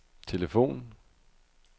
telefon